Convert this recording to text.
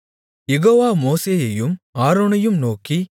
யெகோவா மோசேயையும் ஆரோனையும் நோக்கி